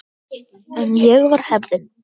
En ég var heppin.